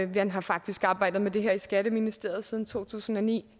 man har faktisk arbejdet med det her i skatteministeriet siden to tusind og ni